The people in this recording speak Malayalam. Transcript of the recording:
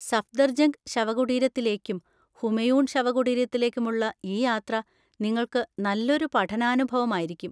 സഫ്ദർജംഗ് ശവകുടീരത്തിലേക്കും ഹുമയൂൺ ശവകുടീരത്തിലേക്കുമുള്ള ഈ യാത്ര നിങ്ങൾക്ക് നല്ലൊരു പഠനാനുഭവമായിരിക്കും.